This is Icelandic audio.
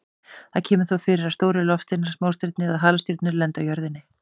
Það kemur þó fyrir að stórir loftsteinar, smástirni eða halastjörnur lendi á jörðinni.